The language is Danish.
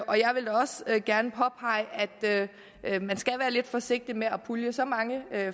og jeg vil da også gerne påpege at man skal være lidt forsigtig med at pulje så mange